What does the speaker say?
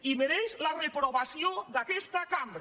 i mereix la reprovació d’aquesta cambra